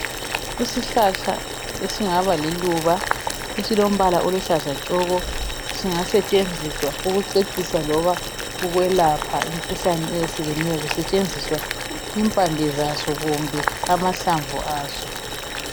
Isihlahla esingaba liluba esilombala oluhlaza tshoko singasetshenziswa ukucecisa loba ukwelapha imikhuhlane eyehlukeneyo kusetshenziswa impande zaso kumbe amahlamvu aso.